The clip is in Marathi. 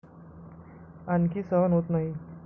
आणखी सहन होत नाही.